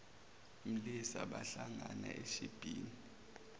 mlisa bahlangana eshibhini